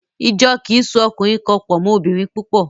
Ìjọ kì í so ọkùnrin kan pọ̀ mọ́ obìnrin púpọ̀.